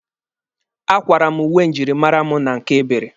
A kwara m uwe njirimara mụ na nke Ebere.